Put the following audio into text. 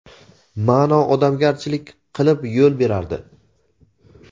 ma’no odamgarchilik qilib yo‘l berardi.